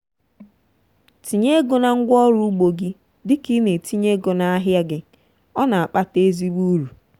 tinye ego na ngwaọrụ ugbo gị dị ka ị na-etinye ego n'ahịa gị—ọ na-akpata ezigbo uru.